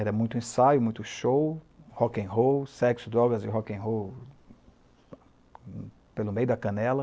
Era muito ensaio, muito show, rock'n'roll, sexo, drogas e rock'n'roll pelo meio da canela.